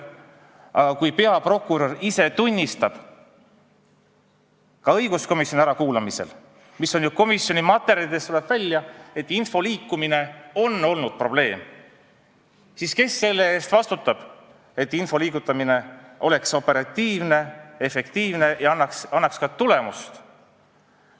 Aga kui peaprokurör ise tunnistab õiguskomisjonis ärakuulamisel – see ju tuleb komisjoni materjalidest välja –, et info liikumine on olnud probleem, siis kes selle eest vastutab, et info liigutamine toimuks operatiivselt, efektiivselt ja annaks ka tulemust?